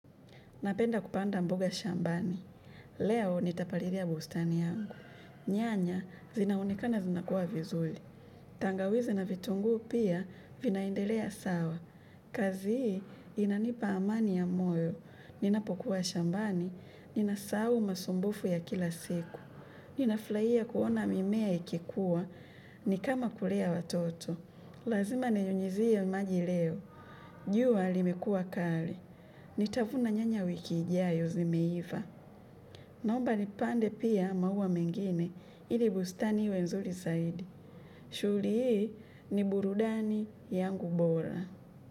Napenda kupanda mboga shambani. Leo nitapalilia bustani yangu. Nyanya zinaonekana zinakuwa vizuri. Tangawizi na vitunguu pia vinaendelea sawa. Kazi hii inanipa amani ya moyo. Ninapokuwa shambani. Ninasau masumbufu ya kila siku. Ninafurahia kuona mimea ikikuwa. Ni kama kulea watoto. Lazima ninyunyizie maji leo. Jua limekuwa kali. Nitavuna nyanya wiki ijayo zimeiva. Naomba nipande pia maua mengine ili bustani iwe nzuri zaidi. Shughuli hii ni burudani yangu bora.